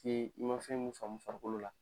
I ma fɛn mun faamu farikolo la